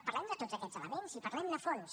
parlem de tots aquests elements i parlem ne a fons